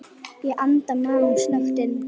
Ég anda maganum snöggt inn.